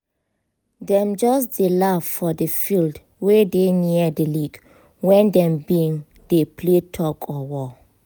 dem just dey laugh for di field wey dey near di lake when dem been dey play tug or war